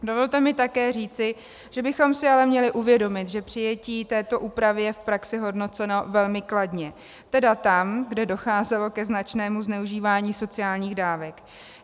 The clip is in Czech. Dovolte mi také říci, že bychom si ale měli uvědomit, že přijetí této úpravy je v praxi hodnoceno velmi kladně, tedy tam, kde docházelo ke značnému zneužívání sociálních dávek.